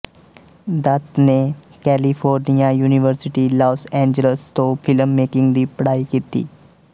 ਦੱਤ ਨੇ California University Los Angeles ਤੋਂ film making ਦੀ ਪੜ੍ਹਾਈ ਕੀਤੀ